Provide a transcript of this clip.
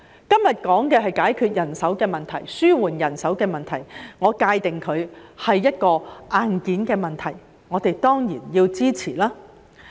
今天談論的是解決人手的問題，紓緩人手的問題，我會界定為硬件問題，我們當然要支持。